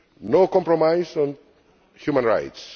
No compromise on human rights.